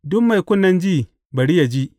Duk mai kunnen ji, bari yă ji.